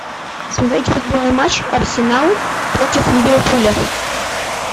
смотреть футбольный матч арсенал против ливерпуля